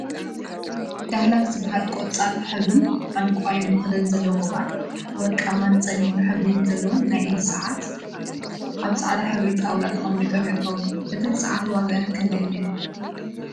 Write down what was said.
ዳህላክ ዝበሃል ቆፃል ሕብሪን ዕንቋይ መክደንን ዘለዎ ቅብአት፣ ወርቃማን ፀሊም ሕብሪ ዘለወን ናይ ኢድ ሰዓት አብ ፃዕዳ ሕብሪ ጣውላ ተቀሚጦም ይርከቡ፡፡ እተን ሰዓት ዋግአን ክንድይ እዩ?